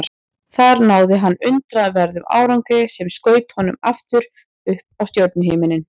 Þar náði hann undraverðum árangri sem skaut honum aftur upp á stjörnuhimininn.